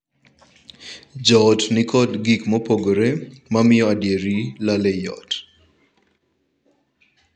Joot ni kod gik mopogore mamiyo adieri lal ei ot.